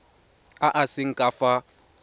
a a seng ka fa